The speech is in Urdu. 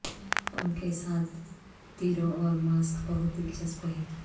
پنکھ کے ساتھ تیرو اور ماسک بہت دلچسپ ہے